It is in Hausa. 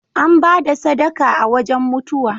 An ba da sadaka a wajan mutuwa.